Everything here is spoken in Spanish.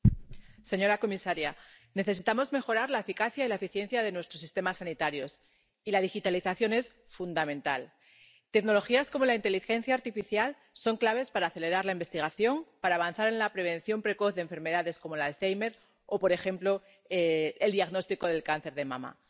Señora presidenta, señora comisaria, necesitamos mejorar la eficacia y la eficiencia de nuestros sistemas sanitarios, y la digitalización es fundamental. Tecnologías como la inteligencia artificial son claves para acelerar la investigación, para avanzar en la prevención precoz de enfermedades como el alzhéimer o, por ejemplo, el diagnóstico del cáncer de mama.